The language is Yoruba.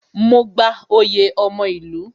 Mo gba oyè ọmọ ìlú